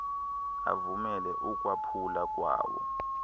avumele ukwaphula kwawo